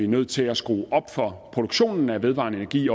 nødt til at skrue op for produktionen af vedvarende energi